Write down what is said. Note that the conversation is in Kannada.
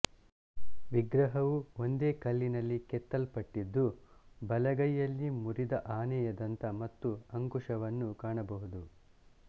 ವಿಗ್ರಹವು ಒಂದೆ ಕಲ್ಲಿನಲ್ಲಿ ಕೆತ್ತಲ್ಪಟ್ಟಿದ್ದು ಬಲಗೈಯಲ್ಲಿ ಮುರಿದ ಆನೆಯ ದಂತ ಮತ್ತು ಅಂಕುಶವನ್ನು ಕಾಣಬಹುದು